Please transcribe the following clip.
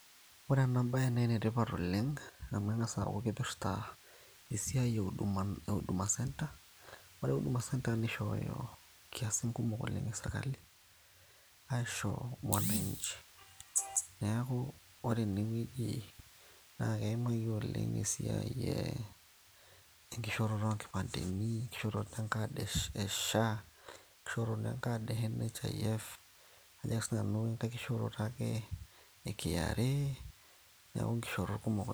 ore ena bayue naa enetipat oleng amu eng'as aaku kipirrta esiai e huduma centre ore huduma centre nishooyo inkiasin kumok oleng e sirkali aisho mwananchi neeku ore enewueji naa keimaki oleng esiai enkishooroto oonkipandeni, enkishooroto enkad e SHA, enkishooroto enkad e NHIF ajo ake siinanu enkay kishooroto ake e KRA neeku inkishoorot kumok.